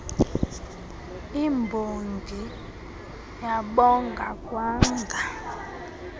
imbongi yabonga kwanga